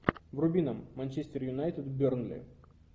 вруби нам манчестер юнайтед бернли